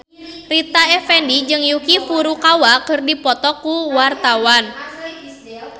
Rita Effendy jeung Yuki Furukawa keur dipoto ku wartawan